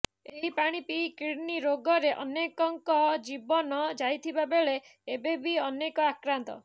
ଏହି ପାଣି ପିଇ କିଡ୍ନୀ ରୋଗରେ ଅନେକଙ୍କ ଜୀବନ ଯାଇଥିବା ବେଳେ ଏବେ ବି ଅନେକ ଆକ୍ରାନ୍ତ